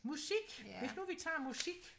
Musik hvis nu vi tager musik